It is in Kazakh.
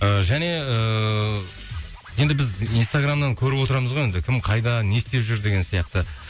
ы және ыыы енді біз инстаграмнан көріп отырамыз ғой енді кім қайда не істеп жүр деген сияқты